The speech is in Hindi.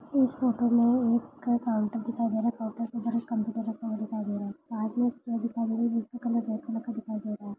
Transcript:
इस फोटो मे एक काउंटर दिखाई दे रहा है काउंटर की तरफ एक कंप्यूटर दिखाई दे रहा है जिसमे रेड कलर का दिखाई दे रहा है।